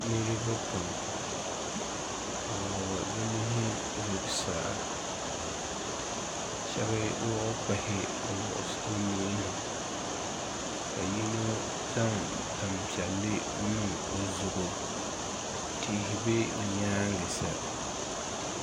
Niriba pam bɛ wuɣi bɛ nuhi zuɣusaa shɛba wuɣi kpahi bɛ nuhi ni ka yino zaŋ tampiɛlli niŋ o zuɣu tihi be bɛ nyaaŋa sa